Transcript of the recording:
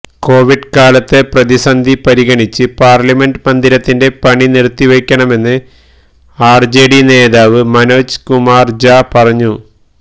Covid കാലത്തെ പ്രതിസന്ധി പരിഗണിച്ച് പാര്ലമെന്റ് മന്ദിരത്തിന്റെ പണി നിര്ത്തിവയ്ക്കണമെന്ന് ആര്ജെഡി നേതാവ് മനോജ് കുമാര് ഝാ പറഞ്ഞു